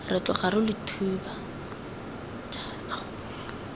re tloga re lo thiba